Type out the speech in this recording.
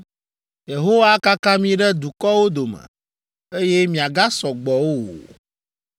Yehowa akaka mi ɖe dukɔwo dome, eye miagasɔ gbɔ o.